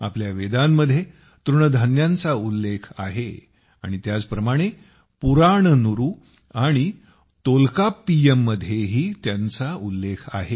आपल्या वेदांमध्ये तृणधान्यांचा उल्लेख आहे आणि त्याचप्रमाणे पुराणनुरु आणि टोलकप्पियममध्येही त्यांचा उल्लेख आहे